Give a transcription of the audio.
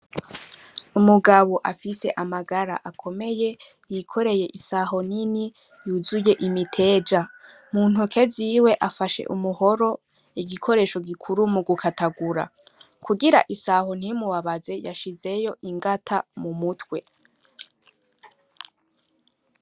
Umugabo afise amagara akomeye yikoreye isaho nini yuzuye imiteja mu ntoke ziwe afashe umuhoro igikoresho gikuru mu gukatagura kugira isaho ntimubabaze yashizeyo ingata mu mutwe.